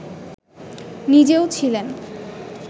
নিজেও ছিলেন